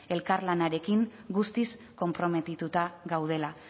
elkarlanarekin guztiz konprometituta gaudela